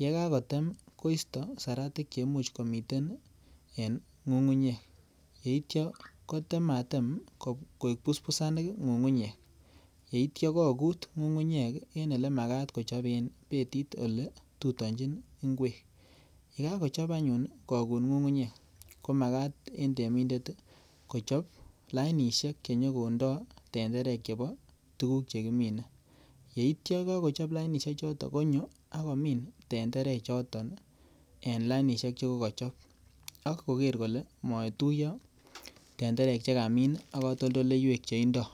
yekakotem koisto seratik cheimuch komiten en ng'ung'unyek, yeitia kotematem koik busbusanik ng'ung'unyek yeitia kokut ng'ung'unyek en elemakat kochoben betit oletutonjin ngwek yekokochop anyun kokut ng'ung'unyek komakat en temindet kochop lainisiek chenyokondoo tenderek chepo tukuk chekimine yeityo kokochop lainishechoton konyo akomin tendere choto en lainishek chekokochop akoker kole motuiyo tenderek chekamin ak katoltoleiwek cheindoo.